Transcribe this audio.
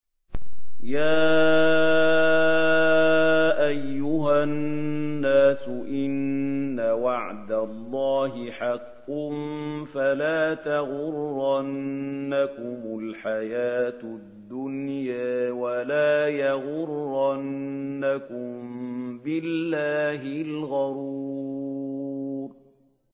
يَا أَيُّهَا النَّاسُ إِنَّ وَعْدَ اللَّهِ حَقٌّ ۖ فَلَا تَغُرَّنَّكُمُ الْحَيَاةُ الدُّنْيَا ۖ وَلَا يَغُرَّنَّكُم بِاللَّهِ الْغَرُورُ